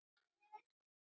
Bless, vinur minn, bless.